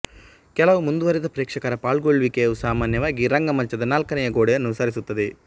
ಕೆಲವು ಮುಂದುವರೆದ ಪ್ರೇಕ್ಷಕರ ಪಾಲ್ಗೊಳ್ಳುವಿಕೆಯು ಸಾಮಾನ್ಯವಾಗಿ ರಂಗಮಂಚದ ನಾಲ್ಕನೆಯ ಗೋಡೆಯನ್ನು ಸರಿಸುತ್ತದೆ